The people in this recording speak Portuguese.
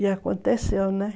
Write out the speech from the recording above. E aconteceu, né?